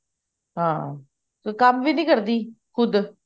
ਹਾਂ ਕੋਈ ਕੰਮ ਵੀ ਨੀ ਕਰਦੀ ਖੁਦ